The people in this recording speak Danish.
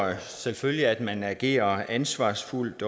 selvfølgelig at man agerer ansvarsfuldt